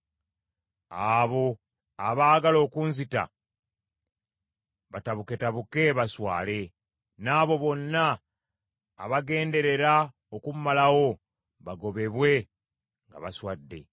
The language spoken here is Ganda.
Abo abaagala okunzita batabuketabuke baswale; n’abo bonna abagenderera okummalawo bagobebwe nga baswadde.